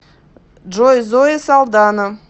джой зои салдана